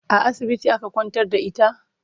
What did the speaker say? A asibiti aka kwantar da ita?